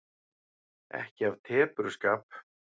Ekki af tepruskap.